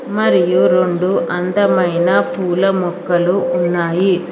మరియు రెండు అందమైన పూలా మొక్కలు ఉన్నాయి.